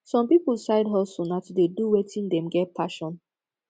some pipo side hustle na to de do wetin dem get passion